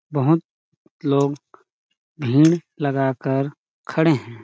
बहुत लोग भीड़ लगा कर खड़े हैं।